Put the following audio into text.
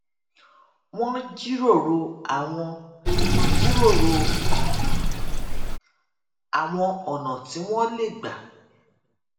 wón jíròrò àwọn jíròrò àwọn ònà tí wón lè gbà